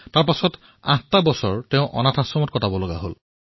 পিছৰ আঠ বছৰ তেওঁ অনাথালয়ত আছিল